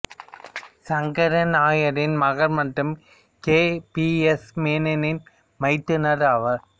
சங்கரன் நாயரின் மகன் மற்றும் கே பி எஸ் மேன்னின் மைத்துனர் ஆவார்